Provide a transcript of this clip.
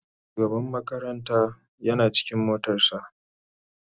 shugaban makaranta Yana cikin motar sa.